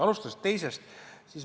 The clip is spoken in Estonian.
Alustan teisest.